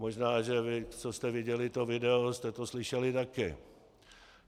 Možná že vy, co jste viděli to video, jste to slyšeli taky.